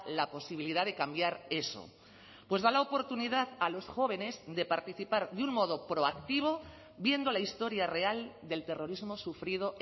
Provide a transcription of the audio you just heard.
la posibilidad de cambiar eso pues da la oportunidad a los jóvenes de participar de un modo proactivo viendo la historia real del terrorismo sufrido